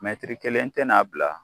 kelen tɛna bila